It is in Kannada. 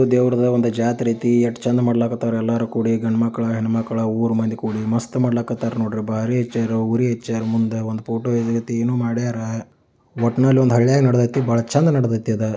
ದೇವರದ ಒಂದು ಜಾತ್ರೆ ಐತಿ ಎಷ್ಟು ಚೆಂದ ಮಾಡ್ಲಾಕತರ ಎಲ್ಲರೂ ಕೂಡಿ. ಗಂಡ್ ಮಕ್ಕಳಾ ಹೆಣ್ಣ ಮಕ್ಕಳಾ ಊರ್ ಮಂದಿ ಕೂಡಿ ಮಸ್ತ್ ಮಾಡ್ಲಕೈತಿ ನೋಡ್ರಿ. ಬಾರಿ ಹೆಚ್ಚಾರಿ ಊರಿ ಹೆಚ್ಚಾರಿ ಮುಂದೆ ಒಂದು ಫೋಟೋ ಐತೆ ಏನೋ ಮಾಡ್ಯಾರ ಒಟ್ಟ್ನಲ್ಲಿ ಒಂದು ಹಳ್ಳಿಯಾಗಿ ನಡಿದೈತಿ. ಬಹಳ ಚೆಂದ ನಡಿದೈತಿ.